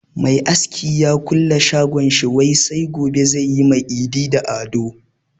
Mai aski ya kulle shagon shi wai sai gobe zai yi ma Idi da Ado.